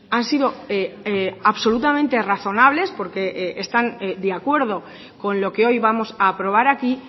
han sido absolutamente razonables porque están de acuerdo con lo que hoy vamos a aprobar aquí